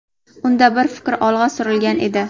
Unda bir fikr olg‘a surilgan edi.